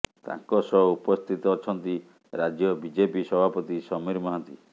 ତାଙ୍କ ସହ ଉପସ୍ଥିତ ଅଛନ୍ତି ରାଜ୍ୟ ବିଜେପି ସଭାପତି ସମୀର ମହାନ୍ତି